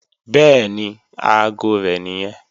Bẹ́ẹ̀ni, aago rẹ̀ nìyẹn